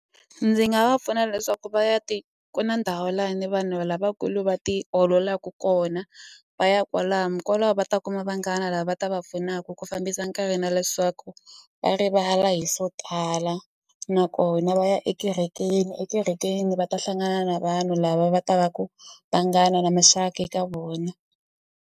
Ndzi nga va pfuna leswaku va ya ku na ndhawu lani vanhu lavakulu va ti ololaku kona va ya kwalano kwalaho va ta kuma vanghana lava va ta va pfunaku ku fambisa nkarhi na leswaku va rivala hi swo tala nakona va ya ekerekeni ekerekeni va ta hlangana na vanhu lava va ta va ku vanghana na maxaka eka vona.